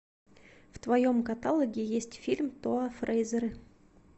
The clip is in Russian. в твоем каталоге есть фильм тоа фрейзеры